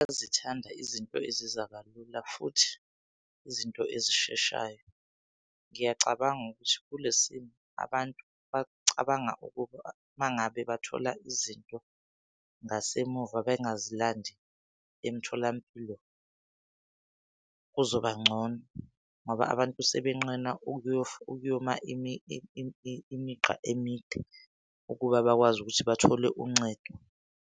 Bayazithanda izinto eziza kalula futhi izinto ezisheshayo. Ngiyacabanga ukuthi kule simo abantu bacabanga ukuba uma ngabe bathola izinto ngasemuva bengazilandi emtholampilo kuzoba ngcono ngoba abantu sebenqena ukuyoma imigqa emide ukuba bakwazi ukuthi bathole uncedo.